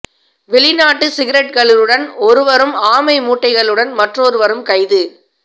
வெளிநாட்டு சிகரட்களுடன் ஒருவரும் ஆமை முட்டைகளுடன் மற்றொருவரும் கைது